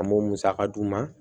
An b'o musaka d'u ma